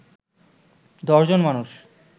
১০ জন মানুষ